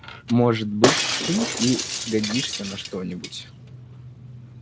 может быть ты и сгодишься на что-нибудь